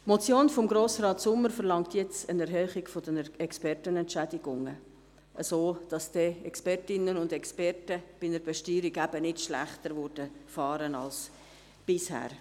Die Motion von Grossrat Sommer verlangt jetzt eine Erhöhung der Expertenentschädigungen, sodass die Expertinnen und Experten bei einer Besteuerung nicht schlechter fahren würden als bisher.